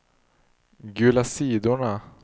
gula sidorna